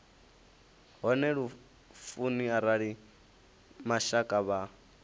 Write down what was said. hone lufuni arali mashaka vha